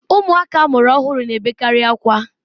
Ụmụaka amụrụ ọhụrụ na-ebekarị akwa